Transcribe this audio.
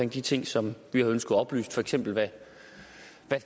de ting som vi havde ønsket oplyst for eksempel hvad